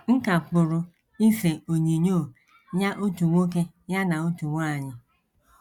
M ka pụrụ ise onyinyo ya otu nwoke ya na otu nwanyị.